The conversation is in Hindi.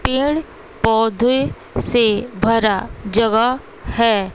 पेड़ पौधे से भरा जगह है।